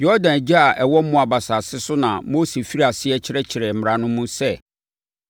Yordan agya a ɛwɔ Moab asase so na Mose firii aseɛ kyerɛkyerɛɛ mmara no mu sɛ: